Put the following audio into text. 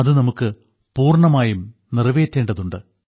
അത് നമുക്ക് പൂർണ്ണമായും നിറവേറ്റേണ്ടതുണ്ട്